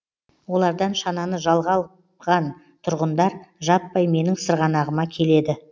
олардан шананы жалға алған тұрғындар жаппай менің сырғанағыма келеді